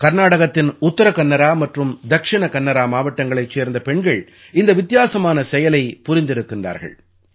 கர்நாடகத்தின் உத்தர கன்னரா மற்றும் தக்ஷிண கன்னரா மாவட்டங்களைச் சேர்ந்த பெண்கள் இந்த வித்தியாசமான செயலைப் புரிந்திருக்கின்றார்கள்